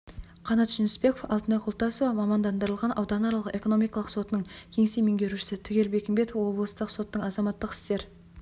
қанат жүнісбеков алтынай құлтасова мамандандырылған ауданаралық экономикалық сотының кеңсе меңгерушісі түгел бекімбетов облыстық соттың азаматтық істер